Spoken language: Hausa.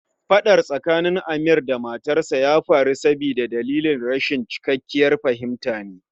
Fadar tsakanin Amir da matarsa ya faru sabida dalilin rashin cikakkiyar fahimta ne